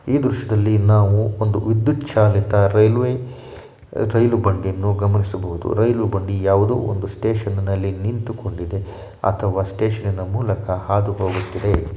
ಈ ದೃಶ್ಯದಲ್ಲಿ ನಾವು ಒಂದು ವಿದ್ಯುತ್ ಚಾಲಿತ ರೈಲ್ವೆ ರೈಲು ಬಂಡಿಯನ್ನು ಗಮನಿಸಬಹುದು ರೈಲು ಬಂಡಿ ಯಾವುದೋ ಒಂದು ಸ್ಟೇಷನ್ ನಲ್ಲಿ ನಿಂತುಕೊಂಡಿದೆ ಅಥವಾ ಒಂದು ಸ್ಟೇಷನ್ನ ಮೂಲಕ ಹಾದು ಹೋಗುತ್ತಿದೆ.